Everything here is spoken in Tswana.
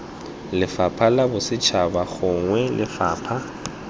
lefapha la bosetšhaba gongwe lefapha